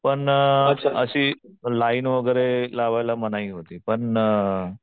पण अशी लाईन वगैरे लावायला मनाई होती. पण